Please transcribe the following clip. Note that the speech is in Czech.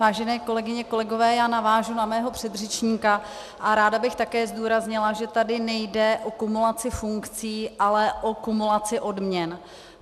Vážené kolegyně, kolegové, já navážu na mého předřečníka a ráda bych také zdůraznila, že tady nejde o kumulaci funkcí, ale o kumulaci odměny.